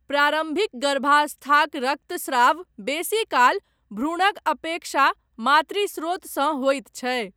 प्रारम्भिक गर्भावस्थाक रक्तस्राव बेसीकाल भ्रूणक अपेक्षा मातृ स्रोतसँ होइत छै।